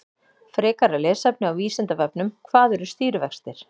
Frekara lesefni á Vísindavefnum: Hvað eru stýrivextir?